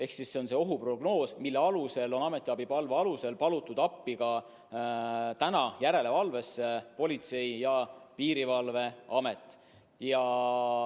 See on ohuprognoos, mille alusel on ametiabi palve alusel palutud järelevalveks appi ka Politsei- ja Piirivalveamet.